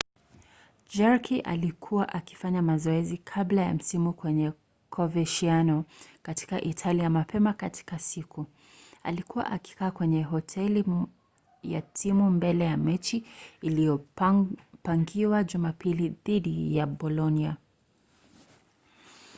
jarque alikuwa akifanya mazoezi kabla ya msimu kwenye coverciano katika italia mapema katika siku. alikuwa akikaa kwenye hoteli ya timu mbele ya mechi iliyopangiwa jumapili dhidi ya bolonia